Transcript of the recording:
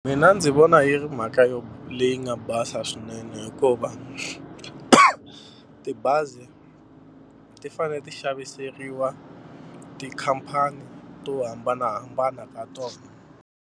Mina ndzi vona yi ri mhaka yo leyi nga basa swinene hikuva tibazi ti fanele ti xaviseriwa tikhampani to hambanahambana ka tona.